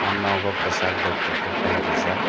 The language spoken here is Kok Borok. ah nogo kosag bai kopor colour rijak.